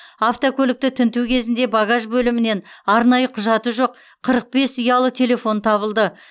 автокөлікті тінту кезінде багаж бөлімінен арнайы құжаты жоқ қырық бес ұялы телефон табылды